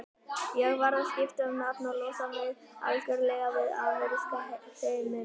Ég varð að skipta um nafn og losa mig algjörlega við ameríska hreiminn.